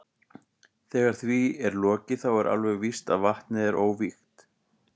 Þegar því er lokið þá er alveg víst að vatnið er óvígt.